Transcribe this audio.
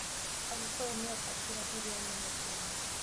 Agikuyu nĩo kabira nene Kenya.